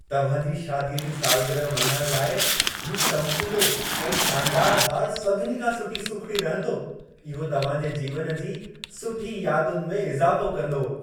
तव्हां जी शादीअ जी सालग्रह मल्हाइण लाइ, हीउ चमकीलो ऐं शानदार हार सभिनी खां सुठी सूखिड़ी रहंदो। इहो तव्हां जे जीवन जी सुठी यादुनि में इज़ाफ़ो कंदो।